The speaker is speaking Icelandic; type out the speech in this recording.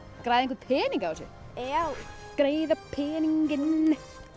græða einhvern pening á þessu já græða peninginn